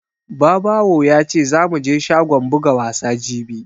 Babawo ya ce zamu je shagon buga wasa jibi